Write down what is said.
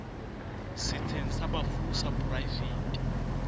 setsheng sa bafu sa poraefete